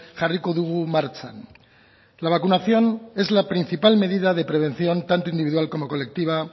jarriko dugu martxan la vacunación es la principal medida de prevención tanto individual como colectiva